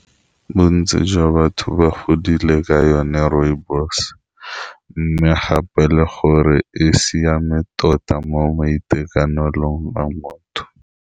Bontsi jwa batho ba godile ka yone rooibos, mme gape le gore e siame tota mo maitekanelong a motho.